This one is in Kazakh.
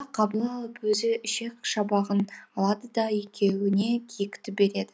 қабыл алып өзі ішек шабағын алады да екеуіне киікті береді